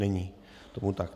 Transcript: Není tomu tak.